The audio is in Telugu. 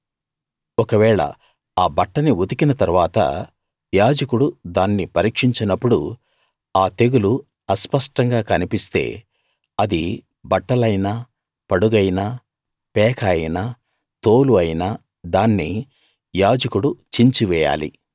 ఒకవేళ ఆ బట్టని ఉతికిన తరువాత యాజకుడు దాన్ని పరీక్షించినప్పుడు ఆ తెగులు అస్పష్టంగా కన్పిస్తే అది బట్టలైనా పడుగైనా పేక అయినా తోలు అయినా దాన్ని యాజకుడు చించివేయాలి